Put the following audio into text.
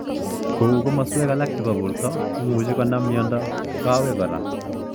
Kou komaskwek alak chebo borto imuch konam mnyondo kawek kora